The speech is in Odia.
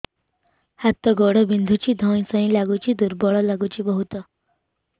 ହାତ ଗୋଡ ବିନ୍ଧୁଛି ଧଇଁସଇଁ ଲାଗୁଚି ଦୁର୍ବଳ ଲାଗୁଚି ବହୁତ